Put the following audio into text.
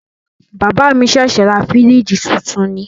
Bàbá mi ṣẹ̀ṣẹ̀ ra fìríjìì titun ni.